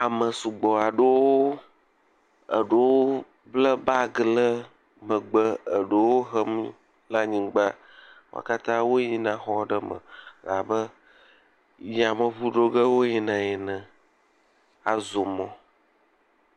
Ame sugbɔ aɖewo, eɖewo ble bagi ɖe megbe eɖewo hem le anyigba. Wo katã woyina exɔ aɖe me abe yameŋŋu ɖoge wo yina ene azɔ mɔ.